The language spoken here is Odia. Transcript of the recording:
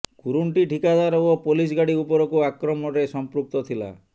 କୁରୁଣ୍ଟି ଠିକାଦାର ଓ ପୋଲିସ ଗାଡ଼ି ଉପରକୁ ଆକ୍ରମଣରେ ସଂପୃକ୍ତ ଥିଲା